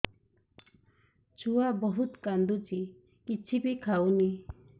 ଛୁଆ ବହୁତ୍ କାନ୍ଦୁଚି କିଛିବି ଖାଉନି